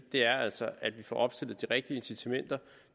er altså at vi får opstillet de rigtige incitamenter